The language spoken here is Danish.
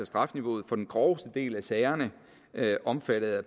strafniveauet for den groveste del af sagerne omfattet af